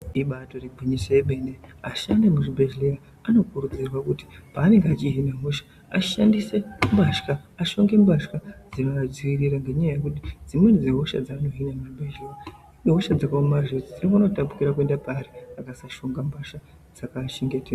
Ibarigwinyiso yemene vashandi vemuzvibhedhlera vanokurudzirwa kuti pavanenge vachihina hosha ahlonge mbatya dzinoadziirira ngenyaya yekuti dziwen8 dzehosha dzaanenge achihina dzinogona kutapukira kuenda paari akasahlonga mbatya dzinodziirira.